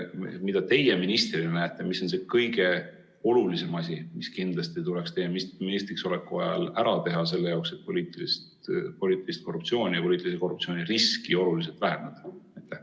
Mida teie ministrina peate kõige olulisemaks asjaks, mis kindlasti tuleks teie ministriksoleku ajal ära teha, et poliitilist korruptsiooni ja poliitilise korruptsiooni riski oluliselt vähendada?